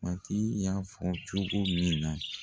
Matigi y'a fɔ cogo min na